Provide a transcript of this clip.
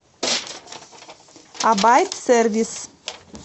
абайт сервис